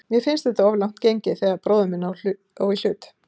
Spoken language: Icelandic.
Mér finnst þetta of langt gengið þegar bróðir minn á í hlut.